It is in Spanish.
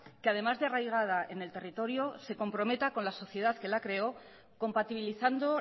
que además de arraigada en el territorio se comprometa con la sociedad que la creó compatibilizando